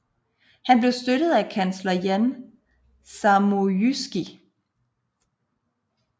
Han blev støttet af sin kansler Jan Zamoyski